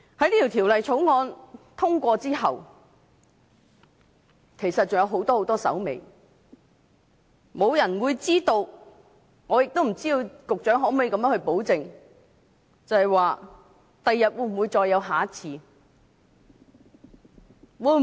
當《條例草案》獲得通過之後，其實還有很多手尾，沒有人會知道將來是否還有下一次，局長能否保證不會再有下一次？